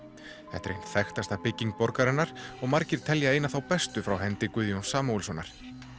þetta er ein þekktasta bygging borgarinnar og margir telja eina þá bestu frá hendi Guðjóns Samúelssonar